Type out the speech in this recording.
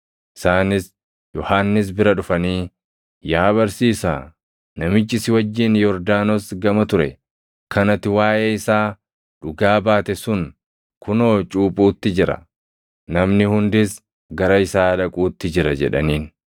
Isaanis Yohannis bira dhufanii, “Yaa barsiisaa, namichi si wajjin Yordaanos gama ture, kan ati waaʼee isaa dhugaa baate sun kunoo cuuphuutti jira; namni hundis gara isaa dhaquutti jira” jedhaniin.